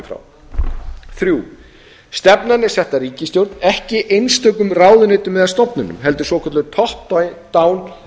frá þriðja stefnan er sett af ríkisstjórn ekki einstökum ráðuneytum eða stofnunum heldur svokölluðu top down